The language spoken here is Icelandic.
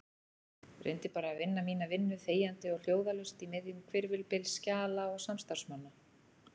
Reyndi bara að vinna mína vinnu þegjandi og hljóðalaust í miðjum hvirfilbyl skjala og samstarfsmanna.